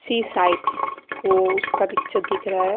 सी site वो उसका picture दिख रहा--